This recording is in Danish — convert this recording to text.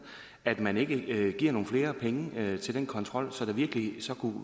at man ikke giver nogle flere penge til den kontrol så der virkelig kunne